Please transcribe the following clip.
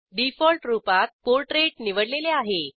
default रूपात portrait निवडलेले आहे